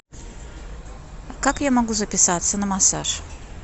как я могу записаться на массаж